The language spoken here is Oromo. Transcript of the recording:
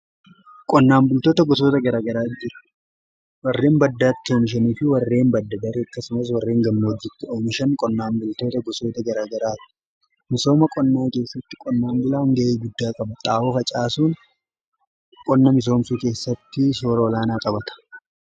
Qonnaan bultoota gosoota garaa garaa jira. Warreen baddaatti oomishanii fi warreen badda-daree akkasumas warreen gammoojjitti oomishan qonnaan bultoota gosoota garaa garaati. Misooma qonnaa keessatti qonnaan bulaan ga'ee guddaa qaba. Xaawo facaasuun qonna misoomsuu keessatti soora olaanaa qabata.